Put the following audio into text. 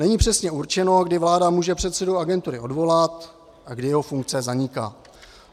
Není přesně určeno, kdy vláda může předsedu agentury odvolat a kdy jeho funkce zaniká.